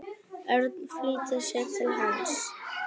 Örn flýtti sér til hans.